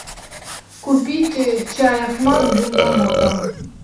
купить чай ахмат с бергамотом